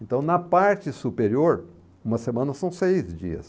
Então, na parte superior, uma semana são seis dias.